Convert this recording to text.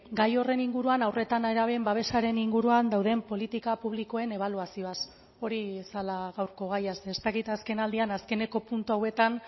gai horren inguruan haur eta nerabeen babesaren inguruan dauden politika publikoen ebaluazioaz hori zela gaurko gaia ze ez dakit azken aldian azkeneko puntu hauetan